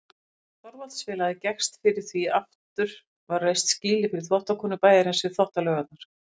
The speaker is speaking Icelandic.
Thorvaldsensfélagið gekkst fyrir því að aftur var reist skýli fyrir þvottakonur bæjarins við Þvottalaugarnar.